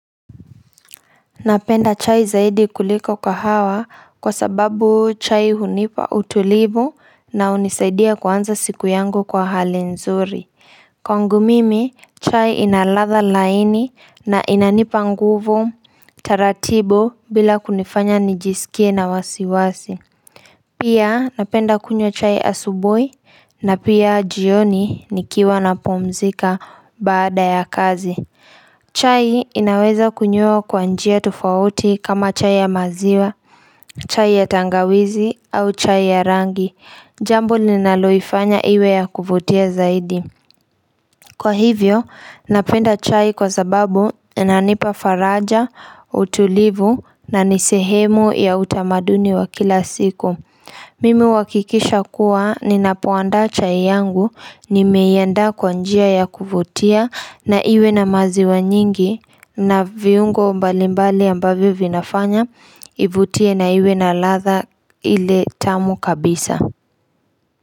Napenda chai zaidi kuliko kahawa kwa sababu chai hunipa utulivu na unisaidia kwanza siku yangu kwa hali nzuri. Kwangu mimi, chai inalatha laini na inanipa nguvu taratibu bila kunifanya nijisikie na wasiwasi. Pia napenda kunywa chai asubuhi na pia jioni nikiwa na pumzika baada ya kazi. Chai inaweza kunyiwa kwa njia tofauti kama chai ya maziwa, chai ya tangawizi au chai ya rangi. Jambo ninaloifanya iwe ya kuvutia zaidi. Kwa hivyo, napenda chai kwa sababu inanipa faraja, utulivu na nisehemu ya utamaduni wa kila siku. Mimi huakikisha kuwa ninapoanda chai yangu, nimeianda kwanjia ya kuvutia na iwe na maziwa nyingi na viungo mbalimbali ambavyo vinafanya, ivutie na iwe na latha ile tamu kabisa.